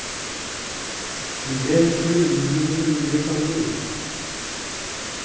Du vet hvor umulig det mulige kan bli.